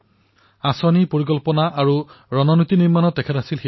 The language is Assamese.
যোজনাসমূহৰ প্ৰস্তুত আৰু ইয়াৰ ৰণনীতি নিৰ্মাণ কৰাত তেওঁ বিচক্ষণ আছিল